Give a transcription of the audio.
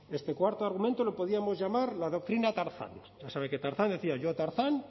este cuarto argumento lo podíamos llamar la doctrina tarzán usted sabe que tarzán decía yo tarzán